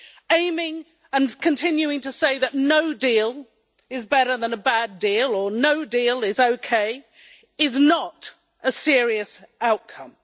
Aiming and continuing to say that no deal is better than a bad deal, or no deal is okay, is not a serious outcome.